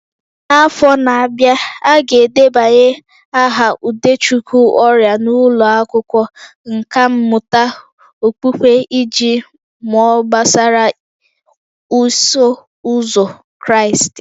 N'afọ na-abịa, a ga-edebanye aha Udechukwu ọrịa n'ụlọ akwụkwọ nkà mmụta okpukpe iji mụọ gbasara Iso Ụzọ Kraịst